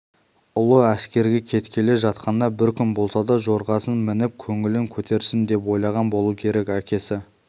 ұлы әскерге кеткелі жатқанда бір күн болса да жорғасын мініп көңілін көтерсін деп ойлаған болу керек әкесі